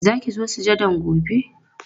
Za ki zo sujadan gobe?